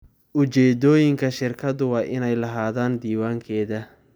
Ujeedooyinka shirkadu waa inay lahaadaan diiwaankeeda.